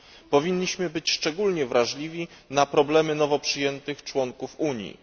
Powinniśmy być szczególnie wrażliwi na problemy nowo przyjętych członków Unii.